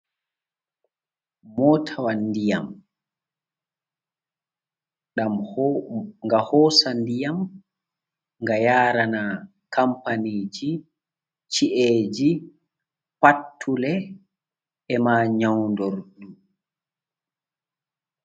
Motawa diyam, ɗam ho gahosa diyam, ga yarana kampani ji, chi’e ji, pattule, e ma nyaundor du.